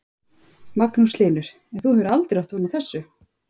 Magnús Hlynur: En þú hefur aldrei átt von á þessu?